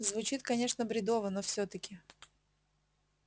звучит конечно бредово но всё-таки